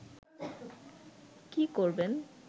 কি করবেন